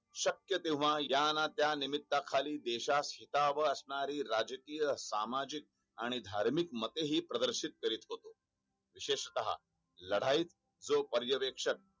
शक्य तेव्हा या न त्या निम्मीत्या खाली देशास असणारी राजकीय सामाजिक आणि धार्मिक मते हि प्रदर्शित करीत होतो विशेषत लढाईत जी पर्यवेक्षक